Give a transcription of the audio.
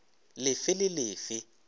le fe le le fe